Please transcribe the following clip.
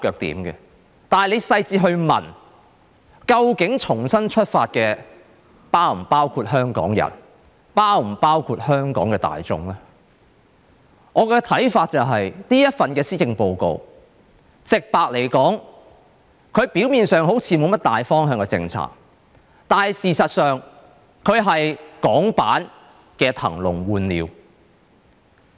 但是，如果你細緻去問，究竟重新出發的是否包括香港人，是否包括香港的大眾呢？我的看法是，直白來說，這份施政報告表面上好像沒甚麼大方向的政策，但事實上，它是港版的"騰籠換鳥"。